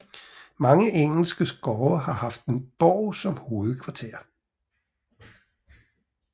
Mange engelske skove har haft en borg som hovedkvarter